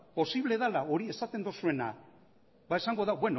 posible dela hori esaten duzuena esango du